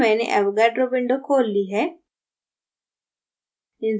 यहाँ मैंने avogadro window खोल ली है